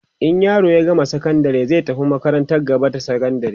in yaro ya gama sakandari zai tafi makarantar gaba da sakandari